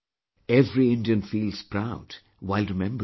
Every Indian feels proud while remembering him